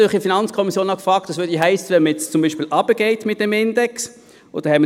Wir haben uns in der FiKo auch gefragt, was es hiesse, wenn man den Index senkte.